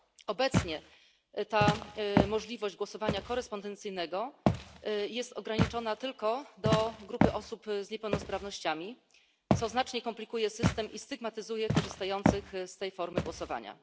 Obecnie ta możliwość głosowania korespondencyjnego jest ograniczona tylko do grupy osób z niepełnosprawnościami, co znacznie komplikuje system i stygmatyzuje korzystających z tej formy głosowania.